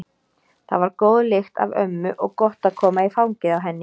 Það var góð lykt af ömmu og gott að koma í fangið á henni.